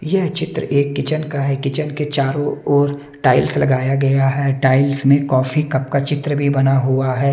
यह चित्र एक किचन का है किचन के चारों ओर टाइल्स लगाया गया है टाइल्स में कॉफी कप का चित्र भी बना हुआ है।